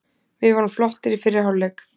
Við vorum flottir í fyrri hálfleik.